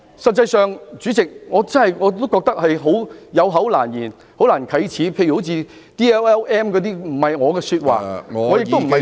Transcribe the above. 實際上，主席，我真的覺得有口難言，很難啟齒，例如 "DLLM" 等不是我的說話，我亦不想說這些話......